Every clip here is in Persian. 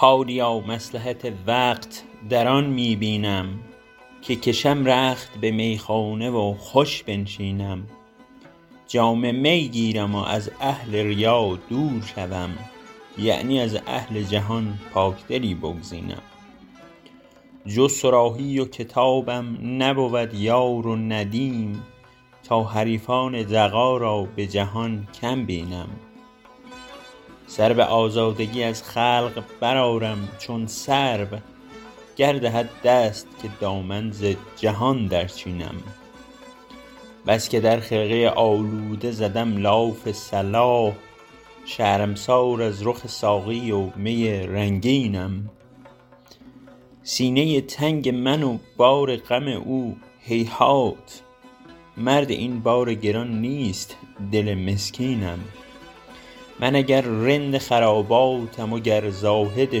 حالیا مصلحت وقت در آن می بینم که کشم رخت به میخانه و خوش بنشینم جام می گیرم و از اهل ریا دور شوم یعنی از اهل جهان پاکدلی بگزینم جز صراحی و کتابم نبود یار و ندیم تا حریفان دغا را به جهان کم بینم سر به آزادگی از خلق برآرم چون سرو گر دهد دست که دامن ز جهان درچینم بس که در خرقه آلوده زدم لاف صلاح شرمسار از رخ ساقی و می رنگینم سینه تنگ من و بار غم او هیهات مرد این بار گران نیست دل مسکینم من اگر رند خراباتم و گر زاهد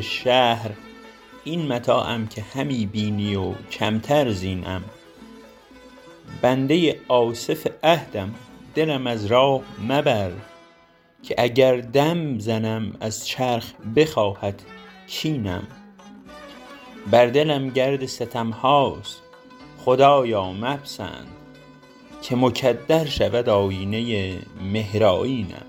شهر این متاعم که همی بینی و کمتر زینم بنده آصف عهدم دلم از راه مبر که اگر دم زنم از چرخ بخواهد کینم بر دلم گرد ستم هاست خدایا مپسند که مکدر شود آیینه مهرآیینم